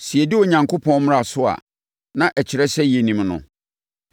Sɛ yɛdi Onyankopɔn mmara so a, na ɛkyerɛ sɛ yɛnim no.